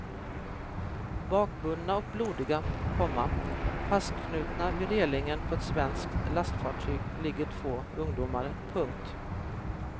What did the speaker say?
Bakbundna och blodiga, komma fastknutna vid relingen på ett svenskt lastfartyg ligger två ungdomar. punkt